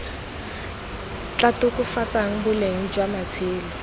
tla tokafatsang boleng jwa matshelo